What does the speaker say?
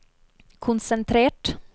konsentrert